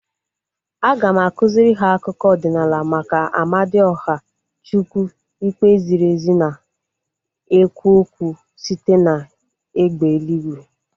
Aga m akụziri ha akụkọ ọdịnala maka Amadioha, chukwu ikpe ziri ezi na-ekwu okwu site na egbe eluigwe